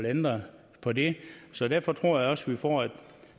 ændre på det så derfor tror jeg også vi får et